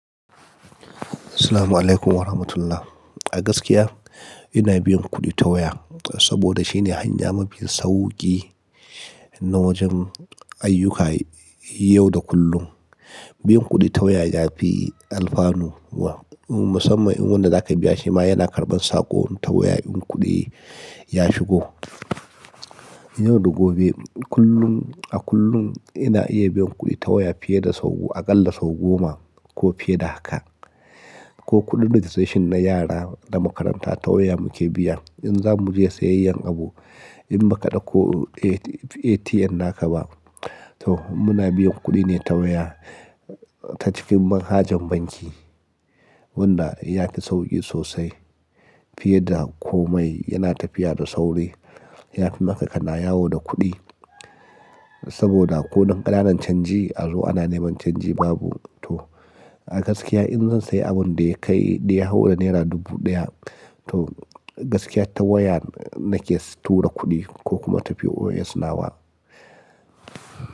Assalamualaikum warahmatullahi. A gaskiya ina biyan kuɗi ta waya, saboda shine hanya mafi sauƙi na wajen ayyukka yau da kullum. Biyan kuɗi ta waya yafi alfanu, musamman inda wanda zaka biya shi ma yana karɓan saƙo ta waya in kuɗi ya shigo. Yau da gobe kullum a kullum ina iya biyan kuɗi ta waya fiye da sau, a ƙalla sau goma ko fiye da haka. Ko kuɗin registration na yara na makaranta ta waya muke biya. In za mu je sayayyar abu in baka ɗauko ATM naka ba to muna biyan kuɗi ne ta waya ta cikin manhajar banki, wanda yafi sauƙi sosai fiye da komai yana tafiya da sauri. Yafi maka ka na yawo da kuɗi saboda ko dan ƙanan canji a zo ana neman canji babu. To a gaskiya in zan sayi abun da ya kai, da ya haura naira dubu ɗaya to gaskiya ta waya nake tura kuɗi ko kuma tafi POS nawa.